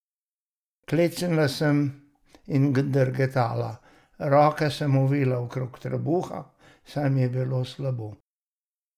Klecnila sem in drgetala, roke sem ovila okrog trebuha, saj mi je bilo slabo.